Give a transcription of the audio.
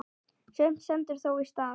Sumt stendur þó í stað.